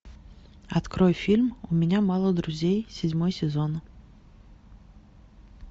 открой фильм у меня мало друзей седьмой сезон